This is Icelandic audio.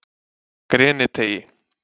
Greniteigi